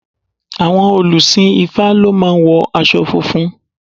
Àwọn òlùsìn ifá lọ máa ń wo aṣọ funfun.